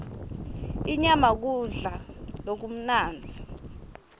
inyama kudla lokumnandzi